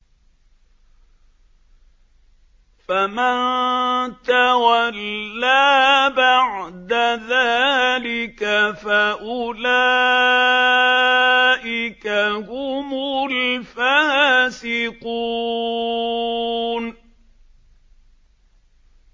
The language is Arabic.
فَمَن تَوَلَّىٰ بَعْدَ ذَٰلِكَ فَأُولَٰئِكَ هُمُ الْفَاسِقُونَ